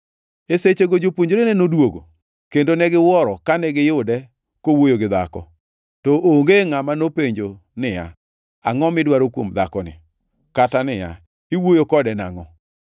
E sechego jopuonjrene noduogo, kendo ne giwuoro kane giyude kowuoyo gi dhako. To onge ngʼama nopenjo niya, “Angʼo midwaro kuom dhakoni?” kata niya, “Iwuoyo kode nangʼo?”